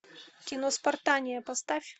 кино спартания поставь